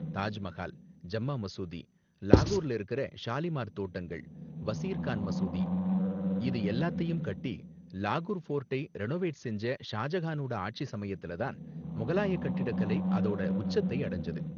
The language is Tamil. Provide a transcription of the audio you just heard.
தாஜ் மகால், ஜம்மா மசூதி, லாகூர்ல இருக்குற ஷாலிமார் தோட்டங்கள், வசீர் கான் மசூதி இது எல்லாத்தையும் கட்டி, லாகூர் ஃபோர்ட்டை ரெனோவேட் செஞ்ச ஷாஜஹானோட ஆட்சி சமயத்துல தான் முகலாய கட்டிடக்கலை அதோட உச்சத்தை அடைஞ்சது.